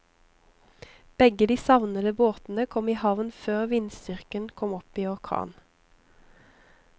Begge de savnede båtene kom i havn før vindstyrken kom opp i orkan.